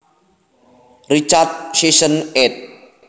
Richard Sisson ed